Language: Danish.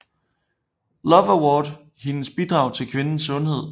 Love Award hendes bidrag til kvinders sundhed